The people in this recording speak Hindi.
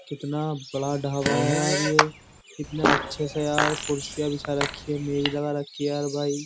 कितना बड़ा ढावा है यार ये इतने अच्छे से यार कुर्सियां बिछा रखी है मेज लगा रखी है यार भाई।